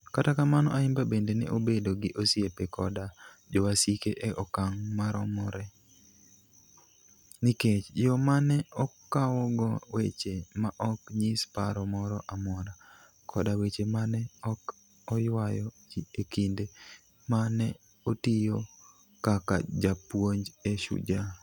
Kata kamano, Ayimba bende ne obedo gi osiepe koda jowasike e okang ' maromre, nikech yo ma ne okawogo weche ma ok nyis paro moro amora, koda weche ma ne ok oywayo ji e kinde ma ne otiyo kaka japuonj e Shujaa.